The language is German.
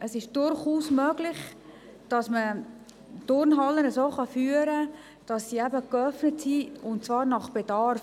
Es ist durchaus möglich, dass man Turnhallen so führen kann, dass sie geöffnet sind, und zwar nach Bedarf.